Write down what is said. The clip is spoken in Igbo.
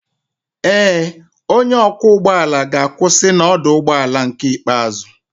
Ee, onye ọkwọ ụgbọ ala ga-akwụsị na ọdụ ụgbọ ala ikpeazụ